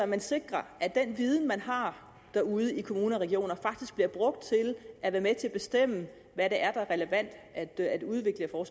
man sikrer at den viden man har derude i kommuner og regioner faktisk bliver brugt til at være med til at bestemme hvad der er relevant at at udvikle og